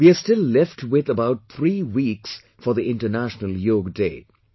We are still left with about three weeks for the International Yoga Day